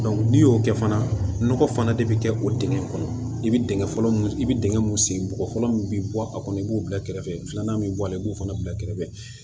n'i y'o kɛ fana nɔgɔ fana de bɛ kɛ o dingɛ kɔnɔ i bɛ dingɛ fɔlɔ mun i bi dingɛ mun sen bɔgɔ min bi bɔ a kɔnɔ i b'o bila kɛrɛfɛ filanan bɛ bɔ a la i b'o fana bila kɛrɛfɛ